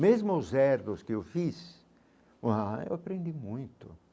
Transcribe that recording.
Mesmo os que eu fiz, ah eu aprendi muito.